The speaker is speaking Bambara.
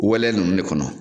Wɛlɛ ninnu de kɔnɔ.